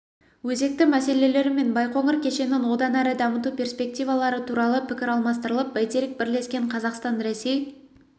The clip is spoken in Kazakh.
өзекті мәселелері мен байқоңыр кешенін одан әрі дамыту перспективалары туралы пікір алмастырылып бәйтерек бірлескен қазақстанресей